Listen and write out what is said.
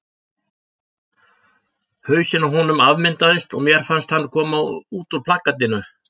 Hausinn á honum afmyndaðist og mér fannst hann koma út úr plakatinu.